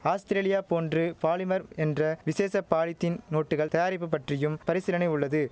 Australia போன்று polymer என்ற விசேஷ பாலித்தின் நோட்டுகள் தயாரிப்பு பற்றியும் பரிசீலனை உள்ளது